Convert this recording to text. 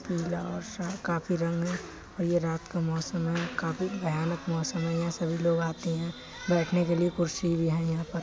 पीला और शा काफी रंग है और ये रात का मौसम है। काफी भयानक मौसम है। यहाँ सभी लोग आते हैं बैठने के लिए कुर्सी भी हैं यहाँ पर --